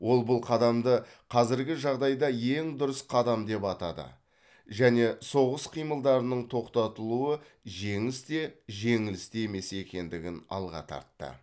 ол бұл қадамды қазіргі жағдайда ең дұрыс қадам деп атады және соғыс қимылдарының тоқтатылуы жеңіс те жеңіліс те емес екендігін алға тартты